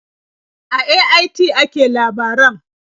A AIT ake labaran.